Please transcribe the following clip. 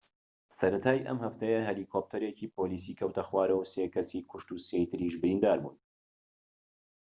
سەرەتای ئەم هەفتەیە هەلیکۆپتەرێکی پۆلیسی کەوتە خوارەوە و سێ کەسی کوشت و سێی تر بریندار بوون